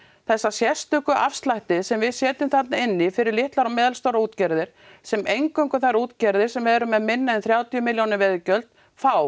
þessa sérstöku afslætti sem við setjum þarna inní fyrir litlar og meðalstórar útgerðir sem eingöngu þær útgerðir sem eru með minna en þrjátíu milljóna veiðigjöld fá